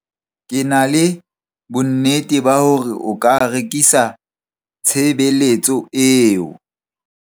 Ke na le bonnete ba hore o ka rekisa tshebeletso eo.